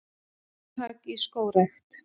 Átak í skógrækt